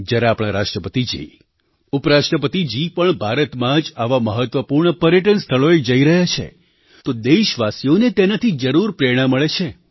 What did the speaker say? જ્યારે આપણા રાષ્ટ્રપતિજી ઉપરાષ્ટ્રપતિજી પણ ભારતમાં જ આવાં મહત્ત્વપૂર્ણ પર્યટન સ્થળોએ જઈ રહ્યા છે તો દેશવાસીઓને તેનાથી જરૂર પ્રેરણા મળે છે